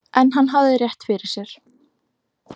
En hann hafði rétt fyrir sér.